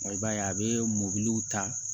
i b'a ye a bɛ mɔbiliw ta